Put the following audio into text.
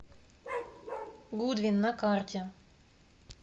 гудвин на карте